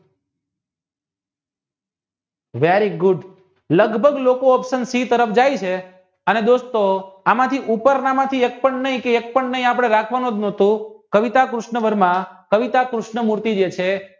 very good લગભગ લોકો opshion શિ તરફ જાય છે અને દોસ્તો આમાંથી ઉપરણામાં એક પણ નહીકે એકપણ નહિ આપણે રાખવાનો જ નોટો કારિતા કૃષ્ણ વર્મા કારિતા કૃષ્ણમૂર્તિ જે છે